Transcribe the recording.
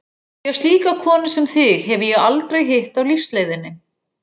Því að slíka konu sem þig hefi ég aldrei hitt á lífsleiðinni.